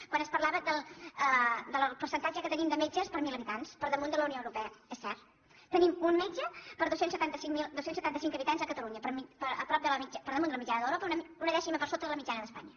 quan es parlava del percentatge que tenim de metges per mil habitants per damunt de la unió europea és cert tenim un metge per dos cents i setanta cinc habitants a catalunya per damunt de la mitjana d’europa una dècima per sota de la mitjana d’espanya